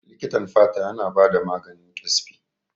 Likitan fata yana bada maganin Ƙyaspi.